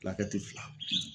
fila